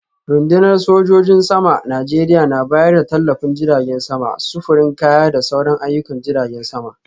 Rundunar sojin saman Najeriya na bayar da tallafin jiragen sama, sufurin kaya da sauran ayyukan jiragen sama.